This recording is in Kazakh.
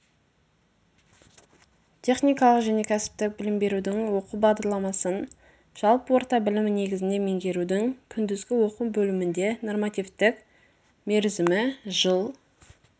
техникалық және кәсіптік білім берудің оқу бағдарламасын жалпы орта білімі негізінде меңгерудің күндізгі оқу бөлімінде нормативтік мерзімі жыл